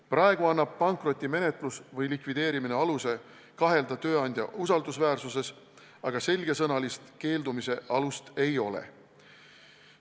Praegu annab pankrotimenetlus või likvideerimine aluse kahelda tööandja usaldusväärsuses, aga selgesõnalist keeldumise alust ei ole.